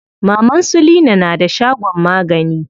Maman su leena na da shagon magani.